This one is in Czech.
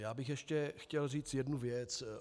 Já bych ještě chtěl říct jednu věc.